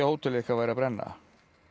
hótelið ykkar væri að brenna